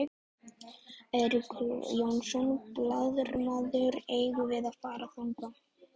Eiríkur Jónsson, blaðamaður: Eigum við að fara þangað?